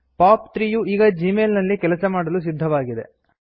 pop 3 ಯು ಈಗ Gmail ನಲ್ಲಿ ಕೆಲಸ ಮಾಡಲು ಸಿದ್ಧವಾಗಿದೆ